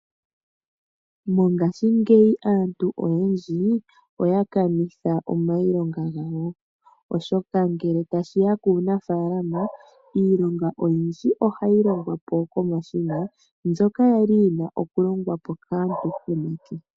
Mongaashingeyi aantu oyendji oya kanitha omayilonga gawo oshoka ngele tashiya puunafalama iilonga oyindji ohayi longwapo komashina mbyoka kwali yuna okulongwapo kaantu komake.